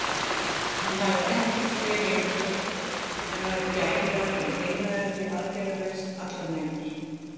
Hann hafði ekkert fé lengur að gæta og dinglaði því aðgerðalaus allar nætur.